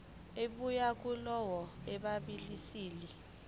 ebuya kulowo obhalisile